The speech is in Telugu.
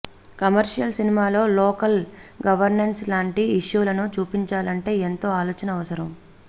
కమర్షియల్ సినిమాలో లోకల్ గవర్నెన్స్ లాంటి ఇష్యూలను చూపించాలంటే ఎంతో ఆలోచన అవసరం